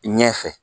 Ɲɛ fɛ